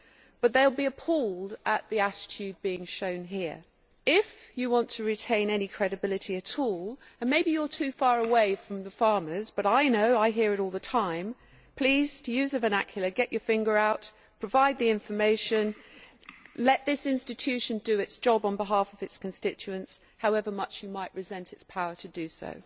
but they will be appalled at the attitude being shown here. If you want to retain any credibility at all maybe you are too far away from the farmers, but I know because I hear it all the time please, to use the vernacular, get your finger out, provide the information and let this institution do its job on behalf of its constituents, however much you might resent its power to do so.